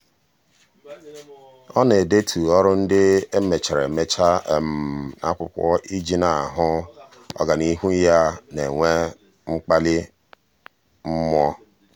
ọ na-edetu ọrụ ndị e mechara emecha um n'akwụkwọ iji na-ahụ um ọganihu ya na-enwe mkpali mmụọ. um